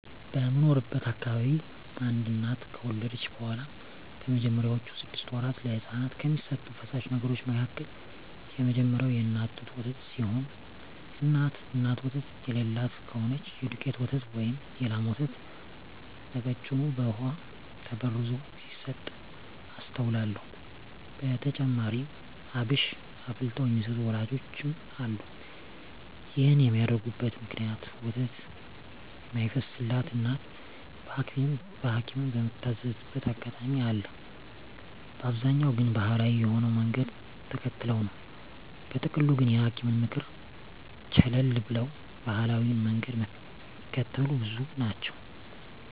በምኖርበት አካባቢ አንድ እናት ከወለደች በኋላ በመጀመሪያወቹ ስድስት ወራት ለህጻናት ከሚሰጡ ፈሳሽ ነገሮች መካከል የመጀመሪያው የእናት ጡት ወተት ሲሆን እናት ወተት የለላት ከሆነች የዱቄት ወተት ወይም የላም ወተት በቀጭኑ በውሃ ተበርዞ ሲሰጥ አስተውላለው። በተጨማሪም አብሽ አፍልተው የሚሰጡ ወላጆችም አሉ። ይህን የሚያደርጉበት ምክንያት ወተት የማይፈስላት እናት በሀኪምም ምትታዘዝበት አጋጣሚ አለ፤ በአብዛኛው ግን ባሀላዊ የሆነውን መንገድ ተከትለው ነው። በጥቅሉ ግን የሀኪምን ምክር ቸለል ብለው ባሀላዊውን መንገድ ሚከተሉ ብዙ ናቸው።